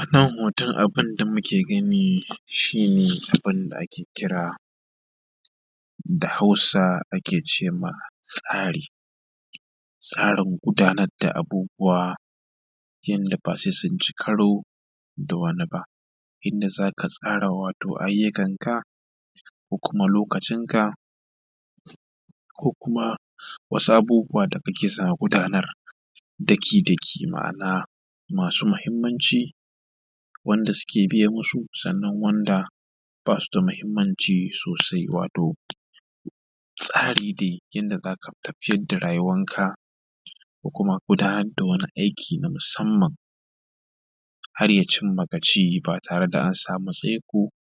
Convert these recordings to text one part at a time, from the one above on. a kan hoton abunda muke gani shi ne wanda ake kira da hausa ake ce ma tsari tsarin gudanar da abubuwa yadda ba sai sun ci karo da wani ba inda za ka tsara wato aiyukan ka ko kuma lokacinka ko kuma wasu abubuwa da muke so a gudanar daki daki ma’ana masu mahimmanci wanda suke biye musu sannan wanda ba su da mahimmanci sosai wato tsari dai yadda za ka tafiyar da rayuwanka ko kuma gudanar da wani aiki na musamman har ya cinma gaci ba tare da an samu tsaiko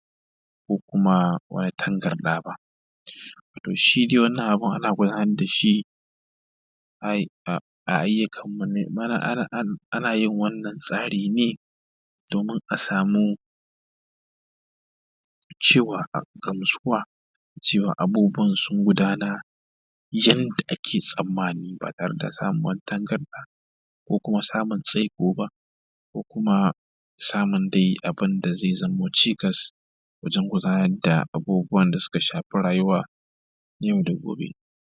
ko kuma wani tangarda ba toh shi dai wannan abun ana gudanar da shi ana yin wannan tsari ne domin a samu gamsuwa cewa abubuwan sun gudanar yadda ake tsammani ba tare da samun tangarɗa ko kuma samun tsaiko ba ko kuma samun dai abunda zai zamo cikas wajen gudanar da abubuwan da suka shafi rayuwan yau da gobe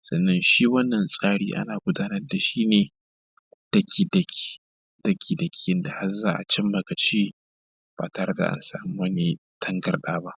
sannan shi wannan tsarin ana gudanar da shi ne daki daki yadda har za a cin ma gaci ba tare da an samu wani tangarda ba